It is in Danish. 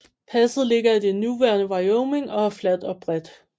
Passet ligger i det nuværende Wyoming og er fladt og bredt